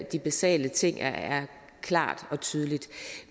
de basale ting det er klart og tydeligt